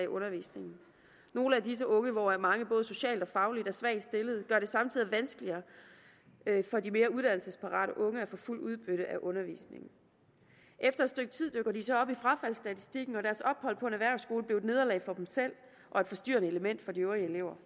undervisningen nogle af disse unge hvor mange både socialt og fagligt er svagt stillet gør det samtidig vanskeligere for de mere uddannelsesparate unge at få fuldt udbytte af undervisningen efter et stykke tid dukker de så op i frafaldsstatistikken og deres ophold på en erhvervsskole blev et nederlag for dem selv og et forstyrrende element for de øvrige elever